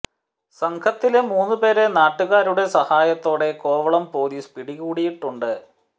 സംഘത്തിലെ മൂന്ന് പേരെ നാട്ടുകാരുടെ സഹായത്തോടെ കോവളം പൊലീസ് പിടികൂടിയിട്ടുണ്ട്